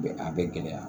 Bɛ a bɛ gɛlɛya